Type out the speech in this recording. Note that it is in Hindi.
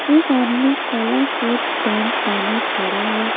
एक आदमी काला कोट पैंट पहने खड़ा है।